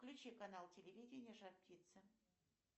включи канал телевидения жар птица